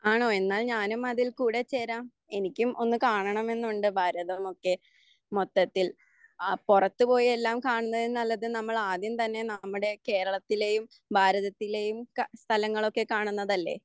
ആണോ? എന്നാൽ ഞാനും അതിൽ കൂടെ ചേരാം. എനിക്കും ഒന്ന് കാണണമെന്നുണ്ട് ഭാരതമൊക്കെ മൊത്തത്തിൽ പുറത്ത് പോയി എല്ലാം കാണുന്നതിൽ നല്ലത് നമ്മൾ ആദ്യം തന്നെ നമ്മുടെ കേരളത്തിലേയും ഭാരതത്തിലേയും ഒക്ക സ്ഥലങ്ങളൊക്കെ കാണുന്നതല്ലേ